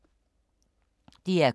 DR K